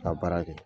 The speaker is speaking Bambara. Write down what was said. Ka baara kɛ